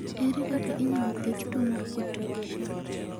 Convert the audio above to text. Ere kaka inyalo thiedh tuwo mar Potocki Shaffer?